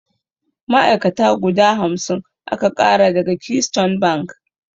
Ma'ai'kata guda hamsin aka ƙara daga Keystone bank.